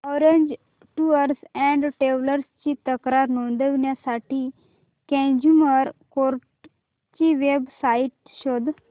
orange tours and travels ची तक्रार नोंदवण्यासाठी कंझ्युमर कोर्ट ची वेब साइट शोध